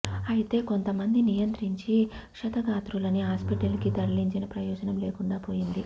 అయితే కొంత మంది నియంత్రించి క్షతగాత్రులని హాస్పిటల్ కి తరలించిన ప్రయోజనం లేకుండా పోయింది